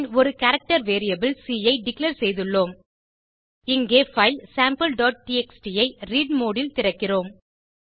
பின் ஒரு character variable C ஐ declare செய்துள்ளோம் இங்கே பைல் sampleடிஎக்ஸ்டி ஐ ரீட் மோடு ல் திறக்கிறோம்